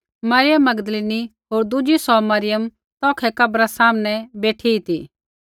Maryam Magdalene होर दुज़ी सौ मरियम तौखै कब्रा सामनै बेठी ती